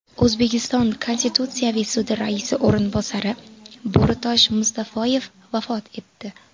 O‘zbekiston Konstitutsiyaviy sudi raisi o‘rinbosari Bo‘ritosh Mustafoyev vafot etdi .